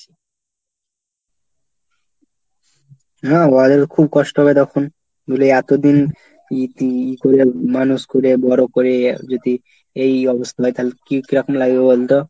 হ্যাঁ ভাই খুব কষ্ট হবে তখন। নইলে এতদিন ইতি করে মানুষ করে বড় করে যদি এই অবস্থা হয় তাহলে কি কিরকম লাগবে বলতো?